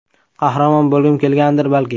Qahramon bo‘lgim kelgandir, balki.